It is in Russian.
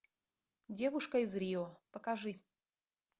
девушка из рио покажи